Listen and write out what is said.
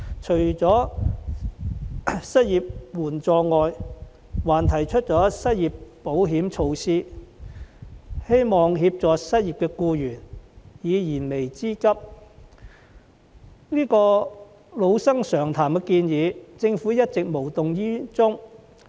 除了失業援助外，我們還提出了失業保險措施，希望協助失業僱員解燃眉之急，但政府對這些老生常談的建議卻一直無動於衷。